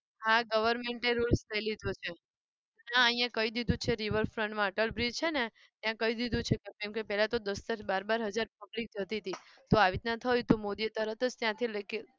હા government એ rules લઇ લીધો છે. હા અહીંયા કહી દીધું છે river front માં અટલ bridge છેને ત્યાં કહી દીધું છે. કેમ કે પેહેલા તો દસ-દસ બાર-બાર હજાર public જતી હતી તો આવી રીતે થયું તો મોદીએ તરત જ ત્યાંથી લેખિત